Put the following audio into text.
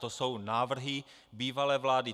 To jsou návrhy bývalé vlády.